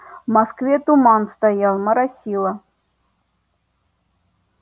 в москве туман стоял моросило